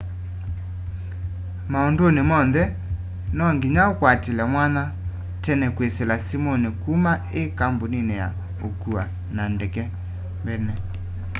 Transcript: maunduni monthe no nginya ukwatilile mwanya tene kwisila simuni kuma i kambunini ya ukua na ndeke mbene